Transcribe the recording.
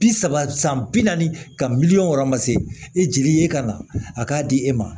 Bi saba san bi naani ka miliyɔn wɔrɔ ma se e jeli ye ka na a k'a di e ma